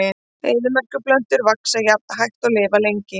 Eyðimerkurplöntur vaxa jafnan hægt og lifa lengi.